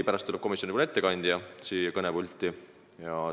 Pärast tuleb kõnepulti komisjoni ettekandja.